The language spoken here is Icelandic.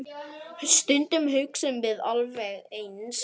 Stundum hugsum við alveg eins.